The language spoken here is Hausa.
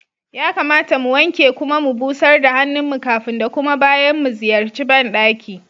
Ya kamata mu wanke kuma mu busar da hannun mu kafin da kuma bayan mu ziyarci ban ɗaki.